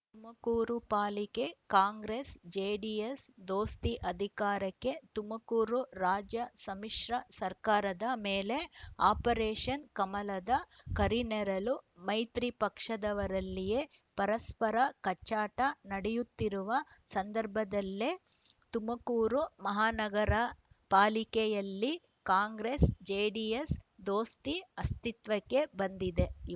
ತುಮಕೂರು ಪಾಲಿಕೆ Congress JDS ದೋಸ್ತಿ ಅಧಿಕಾರಕ್ಕೆ ತುಮಕೂರು ರಾಜ್ಯ ಸಮ್ಮಿಶ್ರ ಸರ್ಕಾರದ ಮೇಲೆ ಆಪರೇಷನ್‌ ಕಮಲದ ಕರಿನೆರಳು ಮೈತ್ರಿ ಪಕ್ಷದವರಲ್ಲಿಯೇ ಪರಸ್ಪರ ಕಚ್ಚಾಟ ನಡೆಯುತ್ತಿರುವ ಸಂದರ್ಭದಲ್ಲೇ ತುಮಕೂರು ಮಹಾನಗರ ಪಾಲಿಕೆಯಲ್ಲಿ ಕಾಂಗ್ರೆಸ್‌ ಜೆಡಿಎಸ್‌ ದೋಸ್ತಿ ಅಸ್ತಿತ್ವಕ್ಕೆ ಬಂದಿದೆ